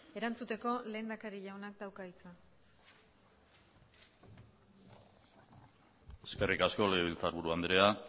erantzuteko lehendakari jaunak dauka hitza eskerrik asko legebiltzarburu andrea